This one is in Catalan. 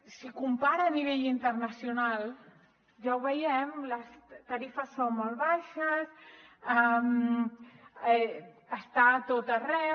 si ho compara a nivell internacional ja ho veiem les tarifes són molt baixes està a tot arreu